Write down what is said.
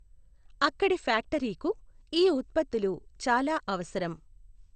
అక్కడి ఫ్యాక్టరీకు ఈ ఉత్పత్తులు చాలా అవసరం.